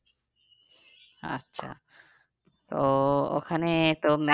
আচ্ছা তো ওখানে তো